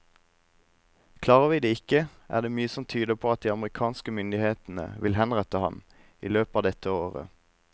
Klarer vi det ikke, er det mye som tyder på at de amerikanske myndighetene vil henrette ham i løpet av dette året.